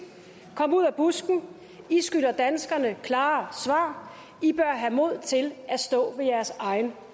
kom ud af busken i skylder danskerne klare svar i bør have mod til at stå ved jeres egen